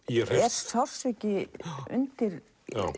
sársauki undir